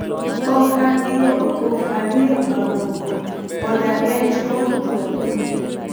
Ok an gi gombo kuom ariyo mamoko - od ang'ech kod tho.